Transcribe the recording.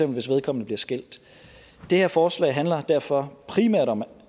hvis vedkommende bliver skilt det her forslag handler derfor primært om